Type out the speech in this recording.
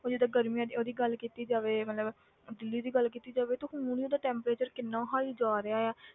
ਉਹ ਜਿੱਦਾਂ ਗਰਮੀਆਂ ਦੀ ਉਹਦੀ ਗੱਲ ਕੀਤੀ ਜਾਵੇ ਮਤਲਬ ਦਿੱਲੀ ਦੀ ਗੱਲ ਕੀਤੀ ਜਾਵੇ ਤੇ ਹੁਣ ਹੀ ਉਹਦਾ temperature ਕਿੰਨਾ high ਜਾ ਰਿਹਾ ਹੈ।